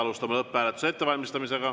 Alustame lõpphääletuse ettevalmistamist.